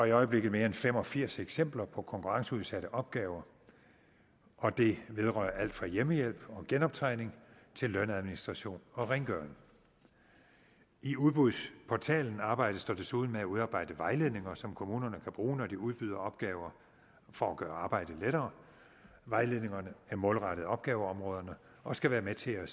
i øjeblikket mere end fem og firs eksempler på konkurrenceudsatte opgaver og det vedrører alt fra hjemmehjælp og genoptræning til lønadministration og rengøring i udbudsportalen arbejdes der desuden med at udarbejde vejledninger som kommunerne kan bruge når de udbyder opgaver for at gøre arbejdet lettere vejledningerne er målrettet opgaveområderne og skal være med til at